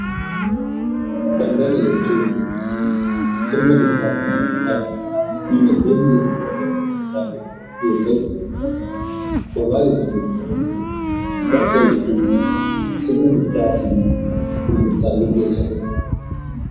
Daldala jechuun sirna bittaa fi gurgurtaa dinaagdee biyya tokkoo keessatti gahee guddaa taphatu yoo ta'u, gabaa jechuun immoo bakka itti sirni bittaa fi gurgurtaa raawwatamudha.